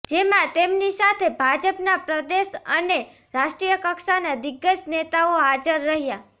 જેમાં તેમની સાથે ભાજપના પ્રદેશ અને રાષ્ટ્રીય કક્ષાના દિગ્ગજ નેતાઓ હાજર રહ્યા